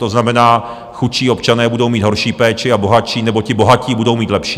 To znamená, chudší občané budou mít horší péči a bohatší - nebo ti bohatí - budou mít lepší.